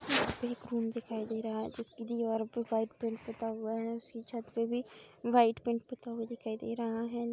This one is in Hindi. यहाँ पे एक रूम दिखाई दे रहा है जिसकी दीवार पे व्हाईट पेंट पुता हुआ है। उसकी छत पे भी व्हाईट पेंट पुता हुआ दिखाई दे रहा है।